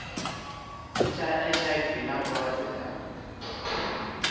tsha hiv na vhulwadze ha